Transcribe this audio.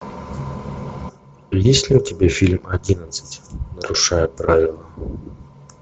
есть ли у тебя фильм одиннадцать нарушая правила